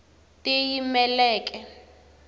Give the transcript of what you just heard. tiyimeleke